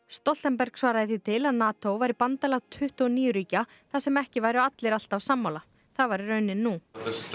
Stoltenberg svaraði því til að NATO væri bandalag tuttugu og níu ríkja þar sem ekki væru allir alltaf sammála það væri raunin nú